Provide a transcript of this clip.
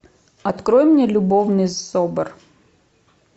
открой мне любовный собор